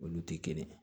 Olu tɛ kelen ye